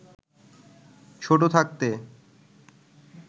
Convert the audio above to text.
ছোট থাকতে